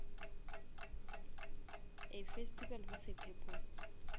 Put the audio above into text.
a festival with a purpose